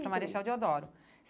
Para Marechal Deodoro.